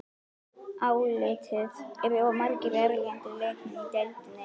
Álitið: Eru of margir erlendir leikmenn í deildinni?